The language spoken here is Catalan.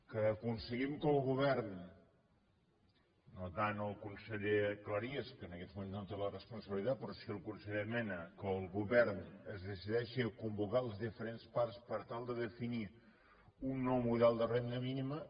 que aconseguim que el govern no tant el conseller cleries que en aquests moments no en té la responsabilitat però sí el conseller mena es decideixi a convocar les diferents parts per tal de definir un nou model de renda mínima